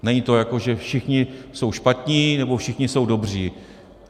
Není to jako že všichni jsou špatní nebo všichni jsou dobří.